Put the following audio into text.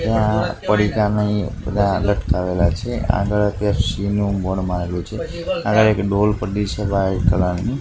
ત્યાં પડીકા નઈ બધા લટકાવેલા છે આગળ પેપ્સી નુ બોર્ડ મારેલું છે આગળ એક ડોલ પડી છે વ્હાઇટ કલર ની.